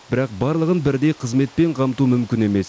бірақ барлығын бірдей қызметпен қамту мүмкін емес